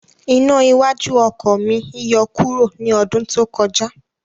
Iná iwájú oko mi yọ kuro ni ọdún tó kọjá